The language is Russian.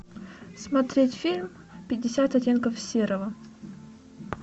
смотреть фильм пятьдесят оттенков серого